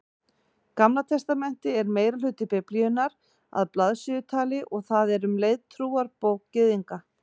Gamla testamentið er meirihluti Biblíunnar að blaðsíðutali og það er um leið trúarbók Gyðinga.